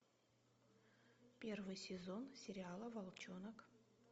первый сезон сериала волчонок